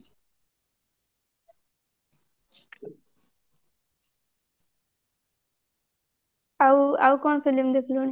ଆଉ ଆଉ କଣ film ଦେଖିଲୁଣି